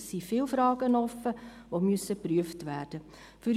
Es sind viele offenen Fragen, die geprüft werden müssen.